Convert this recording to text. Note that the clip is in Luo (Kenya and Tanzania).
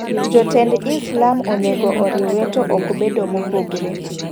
Jotend Islam onego oriwre to ok bedo mopogre.